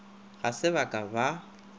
ga se ba ka ba